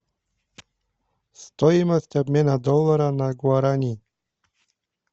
стоимость обмена доллара на гуарани